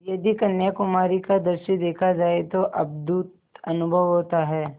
यदि कन्याकुमारी का दृश्य देखा जाए तो अद्भुत अनुभव होता है